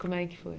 Como é que